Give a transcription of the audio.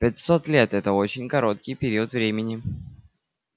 пятьсот лет это очень короткий период времени